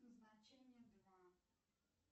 значение два